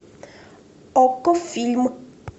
окко фильм